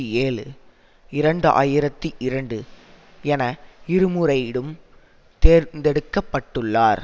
ஏழு இரண்டு ஆயிரத்தி இரண்டு என இருமுறை டுங் தேர்ந்தெடுக்க பட்டுள்ளார்